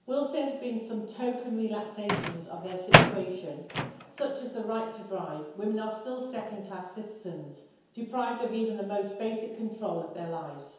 I will say that there have been some token relaxations of their situation, such as the right to drive, but women are still second-class citizens, deprived of even the most basic control of their lives.